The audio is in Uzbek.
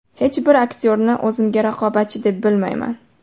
Hech bir aktyorni o‘zimga raqobatchi deb bilmayman.